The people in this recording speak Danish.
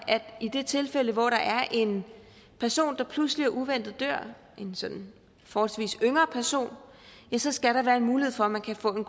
at i det tilfælde hvor der er en person der pludseligt og uventet dør en sådan forholdsvis yngre person skal der være en mulighed for at man kan få en